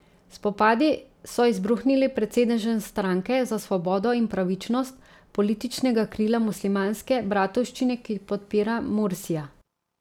Spopadi so izbruhnili pred sedežem Stranke za svobodo in pravičnost, političnega krila Muslimanske bratovščine, ki podpira Mursija.